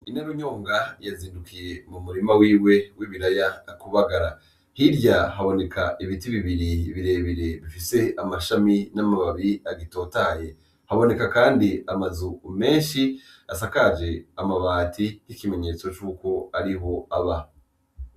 Inarunyonga yazindukiye mu murima wiwe w'ibiraya kubagara, hirya haboneka ibiti bibiri bire bire bifise amashami n'amababi agitotahaye, haboneka kandi amazu menshi asakaje amabati nk'ikimenyetso cuk'ariho aba.